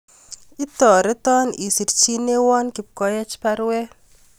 Itoreton isirchinewon Kipkoech baruet